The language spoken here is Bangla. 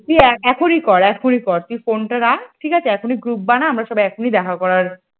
তুই এখনি কর এখনই কর ফোনটা রাখ ঠিক আছে? এখনই group বানা। আমরা সব এখনই দেখা করার ।